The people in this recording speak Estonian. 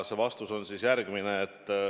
Vastus on järgmine.